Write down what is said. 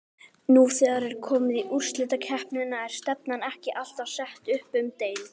Nú þegar er komið í úrslitakeppnina er stefnan ekki alltaf sett upp um deild?